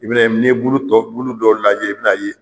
I bi na ye ni ye bulu tɔw lajɛ i bi n'a ye